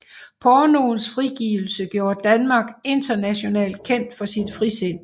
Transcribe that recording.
Pornoens frigivelse gjorde Danmark internationalt kendt for sit frisind